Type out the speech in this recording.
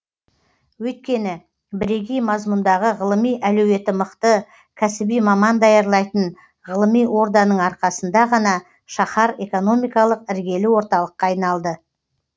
өйткені бірегей мазмұндағы ғылыми әлеуеті мықты кәсіби маман даярлайтын ғылыми орданың арқасында ғана шаһар экономикалық іргелі орталыққа айналады